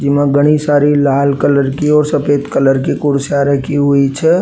जी में घणी सारी लाल कलर की और सफ़ेद कलर की कुर्सियां रखी हुई छे।